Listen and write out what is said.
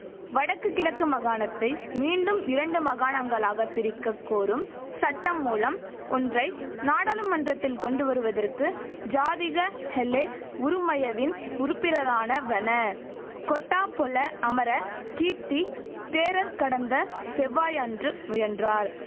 வடக்கு கிழக்கு மகாணத்தை மீண்டும் இரண்டு மகாணங்களாக பிரிக்கக்கோரும் சட்டமூலம் ஒன்றை நாடாளுமன்றத்தில் கொண்டுவருவதற்கு ஜாதிக ஹெலெ உறுமயவின் உறுப்பினரான வண கொட்டாபொல அமர கீர்த்தி தேரர் கடந்த செவ்வாயன்று முயன்றார்